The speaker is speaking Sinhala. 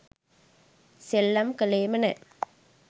සෙල්ලම් කලේම නෑ